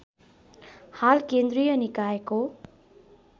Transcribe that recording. हाल केन्द्रीय निकायको